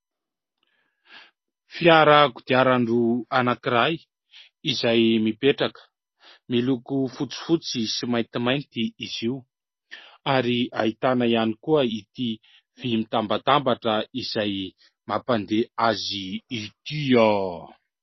Fiarakodiarandro anankiray izay mipetraka miloko fotsifotsy sy maintimainty izy io ary ahitana ihany koa ity vy mitambatambatra izay mampandeha azy ity ao.